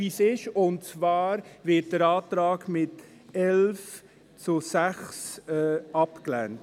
Der Antrag wird mit 11 Ja- gegen 6 Nein-Stimmen abgelehnt.